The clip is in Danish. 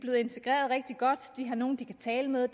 har nogle de kan tale med